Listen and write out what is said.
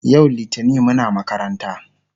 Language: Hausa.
yau littani Muna makaranta